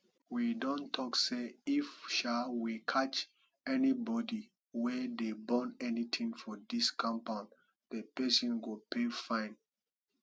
we don talk say if um we catch anybody wey dey burn anything for dis compound the person go pay fine